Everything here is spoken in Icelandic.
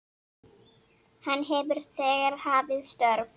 Hann hefur þegar hafið störf.